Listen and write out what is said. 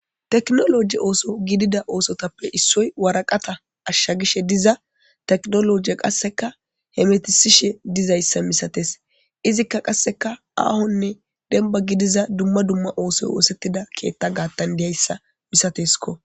Tekinoloje ooso gidida oosotappe issoy waraqata ashshagishe diza tekinolojiya. Qasseka hemetisishe dizayssa misates. Izikka qasseka aahonne demba gidiza dumma dumma oosoy oosettida keetta gaattan diyayssa misateskko.